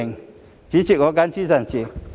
代理主席，我謹此陳辭。